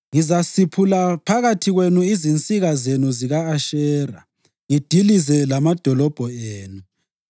Ngizasiphula phakathi kwenu izinsika zenu zika-Ashera, ngidilize lamadolobho enu.